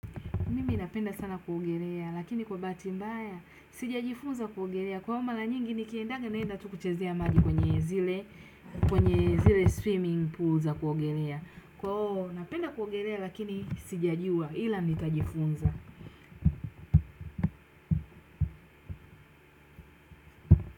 Mimi napenda sana kuogelea lakini kwa bahati mbaya sijajifunza kuogelea. Kwahiyo mara nyingi nikiendaga naenda tu kuchezea maji kwenye zile, kwenye zile swimming pools za kuogelea. Kwahiyo napenda kuogelea lakini sijajua ila nitajifunza.